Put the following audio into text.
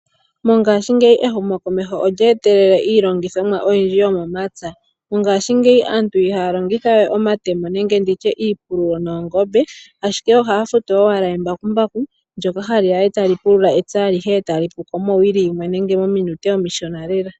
Mongaashi ngeyi ehumo komeho olyee telele iilongithomwa oyindji yomomatsa mongaashi ngeyi aantu ihaa longithawe omatemo nenge nditye iipululo yoongobe ashike ohaafutu owala embakumbaku lyoka haliya etalipulula etsa alihe etali puko mowili yinwe nenge mominute omishona lela .